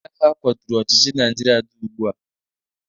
Ndị agha kwaturu ọchịchị Naijiria dị ugbu a.